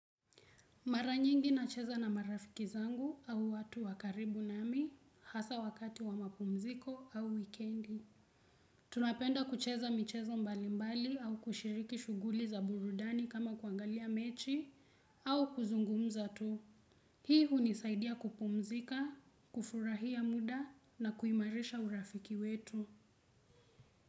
Mara nyingi na cheza na marafiki zangu au watu wakaribu nami hasa wakati wa mapumziko au weekendi. Tunapenda kucheza michezo mbali mbali au kushiriki shughuli za burudani kama kuangalia mechi au kuzungumza tu. Hii hunisaidia kupumzika, kufurahia muda na kuimarisha urafiki wetu.